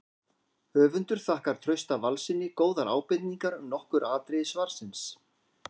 Höfundur þakkar Trausta Valssyni góðar ábendingar um nokkur atriði svarsins.